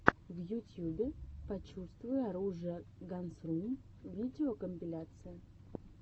в ютюбе почувствуй оружие гансрум видеокомпиляция